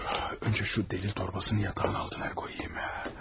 Dayan, əvvəlcə bu sübut torbasını yatağın altına qoyum.